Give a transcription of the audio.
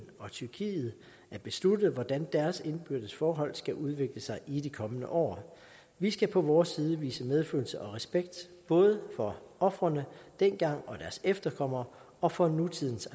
og tyrkiet at beslutte hvordan deres indbyrdes forhold skal udvikle sig i de kommende år vi skal på vores side vise medfølelse og respekt både for ofrene dengang og deres efterkommere og for nutidens